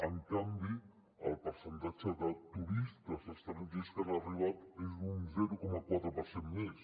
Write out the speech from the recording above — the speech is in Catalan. en canvi el percentatge de turistes estrangers que han arribat és d’un zero coma quatre per cent més